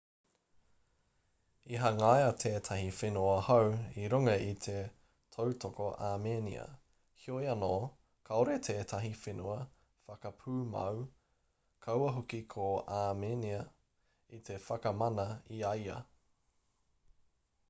i hangaia tētahi whenua hou i runga i te tautoko āmenia heoi anō kāore tētahi whenua whakapūmau kaua hoki ko āmenia i te whakamana i a ia